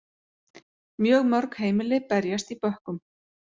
Mjög mörg heimili berjast í bökkum